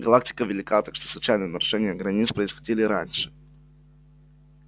галактика велика так что случайные нарушения границ происходили и раньше